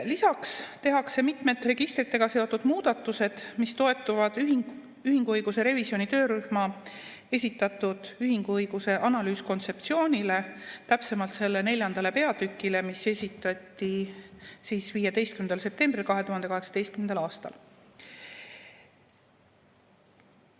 Lisaks tehakse mitmed registritega seotud muudatused, mis toetuvad ühinguõiguse revisjoni töörühma esitatud ühinguõiguse analüüs-kontseptsioonile, täpsemalt selle neljandale peatükile, mis esitati 15. septembril 2018. aastal.